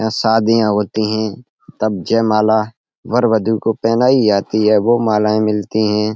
यहाँ शादियाँ होती हैं। तब जयमाला वर वधू को पहनाई जाती है। वो मालाएं मिलती हैं।